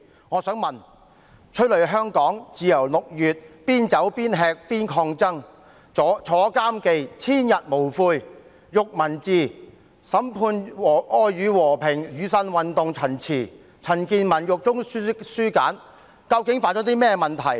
我想問局長，《催淚香港》、《自由六月》、《邊走邊吃邊抗爭》、《坐監記》、《千日無悔》、《獄文字》、《審判愛與和平：雨傘運動陳詞》及《陳健民獄中書簡》等書刊究竟有何問題？